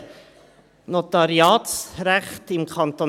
Das Notariatsrecht im Kanton